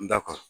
N da kɔrɔ